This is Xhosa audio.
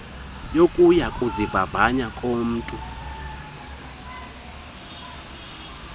yokuya kuzivavanya komntu